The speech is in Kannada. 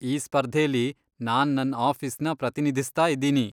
ಈ ಸ್ಪರ್ಧೆಲಿ ನಾನ್ ನನ್ ಆಫೀಸ್ನ ಪ್ರತಿನಿಧಿಸ್ತಾ ಇದೀನಿ.